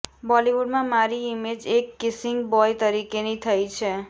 બોલિવૂડમાં મારી ઇમેજ એક કિસિંગ બોય તરીકેની થઇ છે